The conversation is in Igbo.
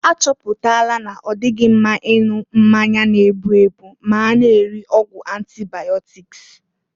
A chọpụtala na-ọdịghị mma ịṅụ mmanya n-egbu egbu ma a na-eri ọgwụ antịbaịọtik.